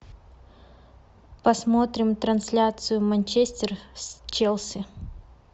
посмотрим трансляцию манчестер с челси